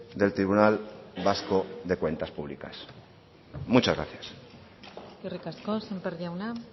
del tribunal vasco de cuentas públicas muchas gracias eskerrik asko sémper jauna